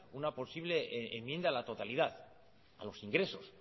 una posible enmienda a la totalidad a los ingresos